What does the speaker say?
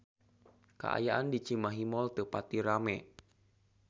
Kaayaan di Cimahi Mall teu pati rame